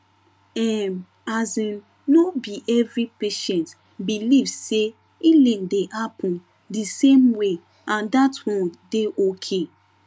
ehm asin no be every patient believe say healing dey happen di same way and that one dey okay